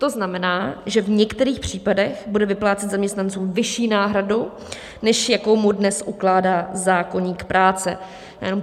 To znamená, že v některých případech bude vyplácet zaměstnancům vyšší náhradu, než jakou mu dnes ukládá zákoník práce.